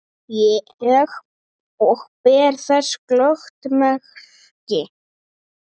Og ber þess glöggt merki.